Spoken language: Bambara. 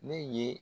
Ne ye